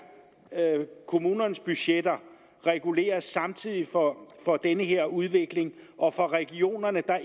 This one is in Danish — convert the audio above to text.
kommunernes budgetter reguleres samtidig for den her udvikling og for regionerne